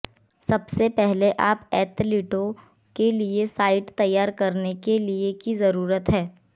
सबसे पहले आप एथलीटों के लिए साइट तैयार करने के लिए की जरूरत है